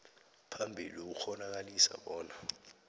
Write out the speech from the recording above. phambili ukukghonakalisa bona